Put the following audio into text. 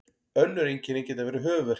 önnur einkenni geta verið höfuðverkur